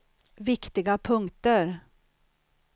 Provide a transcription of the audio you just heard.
viktiga punkter